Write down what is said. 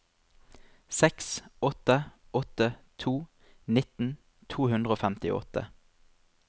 seks åtte åtte to nitten to hundre og femtiåtte